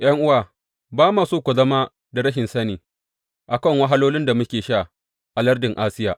’Yan’uwa, ba ma so ku zama da rashin sani, a kan wahalolin da muka sha a lardin Asiya.